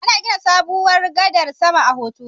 Ana gina sabuwar gadar sama a Hotoro